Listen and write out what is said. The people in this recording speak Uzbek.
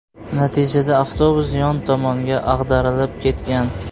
Natijada avtobus yon tomonga ag‘darilib ketgan.